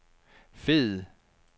fed